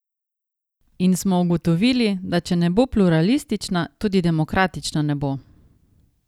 In smo ugotovili, da če ne bo pluralistična, tudi demokratična ne bo.